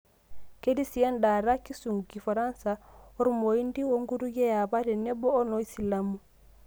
Ketii si endaata, kisungu, kifaransa, oloormoindi onkutukie eapa tenebo woloosilamu.